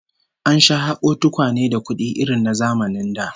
An sha hako tukwane da kudi irin na zamanin da